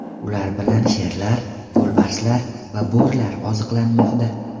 Ular bilan sherlar, yo‘lbarslar va bo‘rilar oziqlanmoqda.